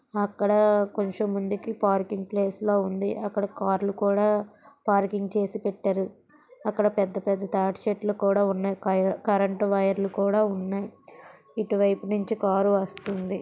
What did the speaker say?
అక్కడ కొంచెం ముందుకి పార్కింగ్ ప్లేస్ లా ఉంది. అక్కడ కార్లు కూడా పార్కింగ్ చేసి పెట్టారు. అక్కడ పెద్దపెద్ద తాటి చెట్లు కూడా ఉన్నాయి. కరెంటు వైర్లు కూడా ఉన్నాయి. ఇటువైపు నుంచి కారు వస్తుంది.